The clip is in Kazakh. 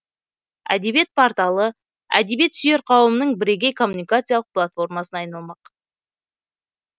әдебиет порталы әдебиет сүйер қауымның бірегей коммуникациялық платформасына айналмақ